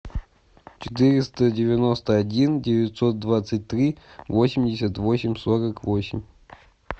четыреста девяносто один девятьсот двадцать три восемьдесят восемь сорок восемь